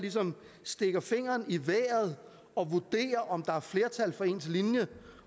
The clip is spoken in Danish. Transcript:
stikker fingeren i vejret og vurderer om der er flertal for ens linje